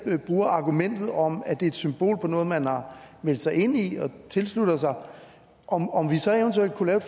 bruger argumentet om at det er et symbol på noget man har meldt sig ind i og tilsluttet sig om om vi så eventuelt kunne lave